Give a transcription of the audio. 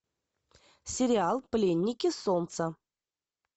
сериал пленники солнца